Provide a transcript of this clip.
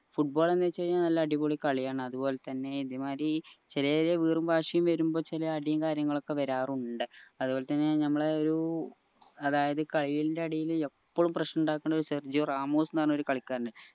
football ന്ന് വെച്ചു കഴിഞ്ഞാൽ നല്ല അടിപൊളി കളിയാണ് അത് പോലെ തന്നെ ഇതേമാരി ചെറിയ ചെറിയ വീറും വാശിയും വരുമ്പോ ചില അടിയും കാര്യങ്ങളും ഒക്കെ വരാറുണ്ട് അത്പോലെ തന്നെ ഞമ്മളെ ഒരു അതായത് കളിന്റെ ഇടയിൽ എപ്പോളും പ്രശ്നം ഇണ്ടാക്കുന്ന സെർജിയോ റാമോസ് ന്ന് പറഞ്ഞ ഒരു കളിക്കാരൻ ഇണ്ട്